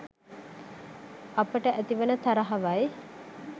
අපට ඇති වන තරහවයි.